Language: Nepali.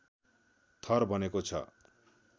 थर बनेको छ